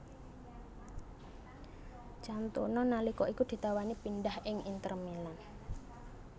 Cantona nalika iku ditawani pindhah ing Inter Milan